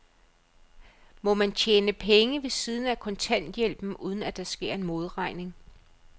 Må man tjene penge ved siden af kontanthjælpen, uden at der sker en modregning?